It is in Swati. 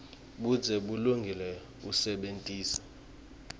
budze bulungile usebentise